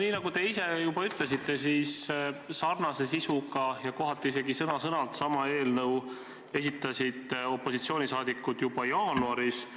Nii nagu te ise juba ütlesite, siis sarnase sisuga ja kohati isegi sõna-sõnalt sama eelnõu esitasid opositsiooni liikmed juba jaanuaris.